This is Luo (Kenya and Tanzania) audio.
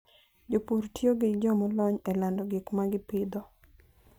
Jopur tiyo gi jo molony e lando gik ma gipidho.